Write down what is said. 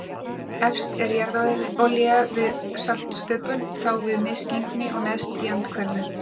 Efst er jarðolía við saltstöpul, þá við misgengi og neðst í andhverfu.